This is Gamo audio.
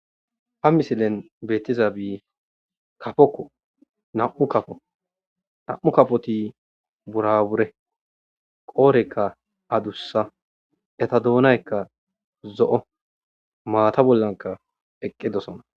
Ha misileni betizabi kapoko na'mu kapo burabure qodheyika adusa eta dunayika zo'o mata bolla eqidosona